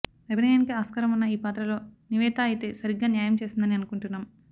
అభినయానికి ఆస్కారం ఉన్న ఈ పాత్రలో నివేతా అయితే సరిగ్గా న్యాయం చేస్తుందని అనుకుంటున్నాం